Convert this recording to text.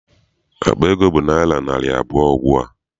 Akpa ego bụ naịra narị abụọ ugbua.